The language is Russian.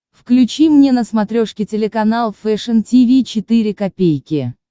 включи мне на смотрешке телеканал фэшн ти ви четыре ка